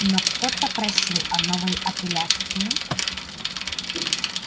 но кто-то просил о новой апелляции